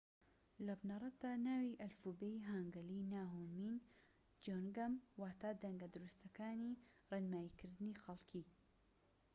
لە بنەڕەتدا ناوی ئەلفوبێی هانگەلی نا هونمین جیۆنگەم واتە دەنگە دروستەکانی ڕێنماییکردنی خەڵكی